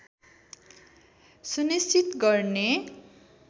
सुनिश्चित गर्ने